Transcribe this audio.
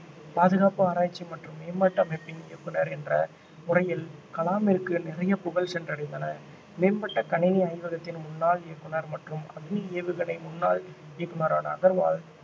பாதுகாப்பு ஆராய்ச்சி மற்றும் மேம்பாட்டு அமைப்பின் இயக்குனர் என்ற முறையில் கலாமிற்கு நிறைய புகழ் சென்றடைந்தன மேம்பட்ட கணினி ஆய்வகத்தின் முன்னாள் இயக்குனர் மற்றும் அக்னி ஏவுகணை முன்னாள் இயக்குனரான அகர்வால்